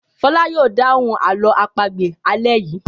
Fọlá yóò dáhùn àlọ́ àpagbè alẹ́ yìí.